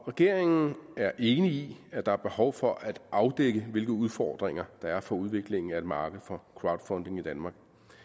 regeringen er enig i at der er behov for at afdække hvilke udfordringer der er for udviklingen af et marked for crowdfunding i danmark